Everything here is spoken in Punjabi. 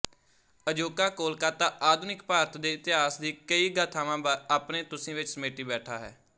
ਅਜੋਕਾ ਕੋਲਕਾਤਾ ਆਧੁਨਿਕ ਭਾਰਤ ਦੇ ਇਤਹਾਸ ਦੀ ਕਈ ਗਾਥਾਵਾਂ ਆਪਣੇ ਤੁਸੀ ਵਿੱਚ ਸਮੇਟੀ ਬੈਠਾ ਹੈ